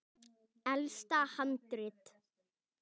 Elsta handrit